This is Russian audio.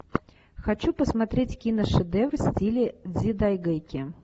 хочу посмотреть киношедевр в стиле дзидайгэки